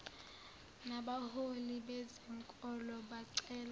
nabaholi bezenkolo bacela